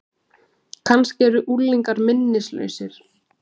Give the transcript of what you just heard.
Kannski eru unglingar minnislausir?